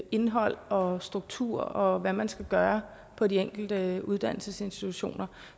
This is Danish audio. indhold og struktur og hvad man skal gøre på de enkelte uddannelsesinstitutioner